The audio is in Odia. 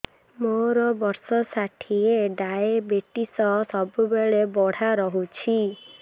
ମୋର ବର୍ଷ ଷାଠିଏ ଡାଏବେଟିସ ସବୁବେଳ ବଢ଼ା ରହୁଛି